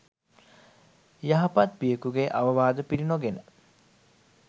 යහපත් පියකුගේ අවවාද පිළිනොගෙන